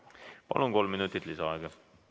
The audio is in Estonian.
Palun, kolm minutit lisaaega!